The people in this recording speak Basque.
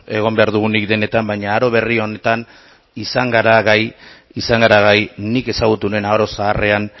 egon behar dugunik denetan baina aro berri honetan izan gara gai nik ezagutu nuen aro zaharrean